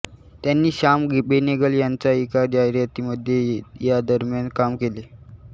त्यांनी श्याम बेनेगल यांच्या एका जाहिरातीमध्ये यादरम्यान काम केले